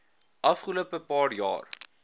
afgelope paar jaar